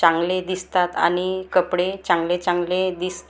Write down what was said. चांगले दिसतात आणि कपडे चांगले चांगले दिस तात आणि--